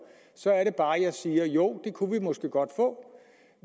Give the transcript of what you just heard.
så er det bare at jeg siger jo det kunne vi måske godt få